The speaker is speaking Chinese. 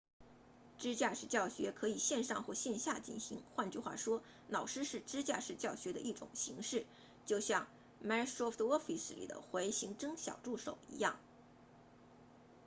支架式教学可以线上或线下进行换句话说老师是支架式教学的一种形式就像 microsoft office 里的回形针小助手一样